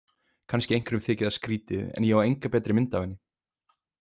Kannski einhverjum þyki það skrýtið en ég á enga betri mynd af henni.